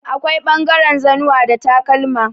Akwai ɓangaren zannuwa da takalma.